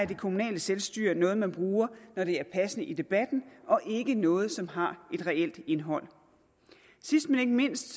det kommunale selvstyre er noget man bruger når det er passende i debatten og ikke noget som har et reelt indhold sidst men ikke mindst